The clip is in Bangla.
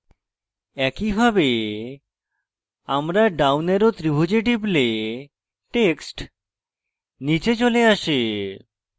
একইভাবে আমরা down arrow ত্রিভুজে টিপলে text নীচে চলে আসে